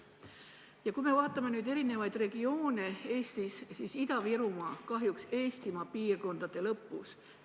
Ja kui me vaatame Eesti eri regioone, siis Ida-Virumaa on kahjuks Eestimaa piirkondade seas lõpus.